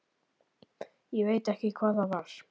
Ég veit ekki hvað það var.